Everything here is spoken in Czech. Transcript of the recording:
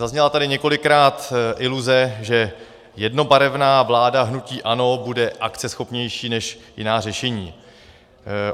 Zazněla tady několikrát iluze, že jednobarevná vláda hnutí ANO bude akceschopnější než jiná řešení.